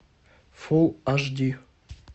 фул аш ди